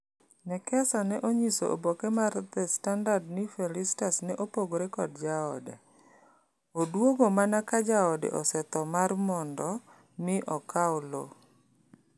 Nekesa ne onyiso oboke mar The Standard ni Felistus ne opogore kod jaode. Oduogo mana ka jaode osetho mar mondo mi okau lo.